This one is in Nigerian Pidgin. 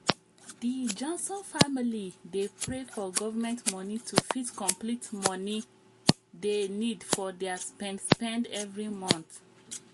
di johnson family dey pray for government money to fit complete money dey need for their spend spend every month